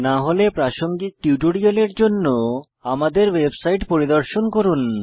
না হলে প্রাসঙ্গিক টিউটোরিয়ালের জন্য আমাদের ওয়েবসাইট পরিদর্শন করুন